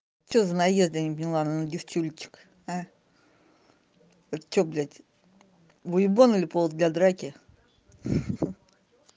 что за наезды я не поняла на девчулечек это что блядь выебоны или повод для драки